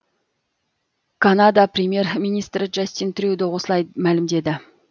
канада премьер министрі джастин трюдо осылай мәлімдеді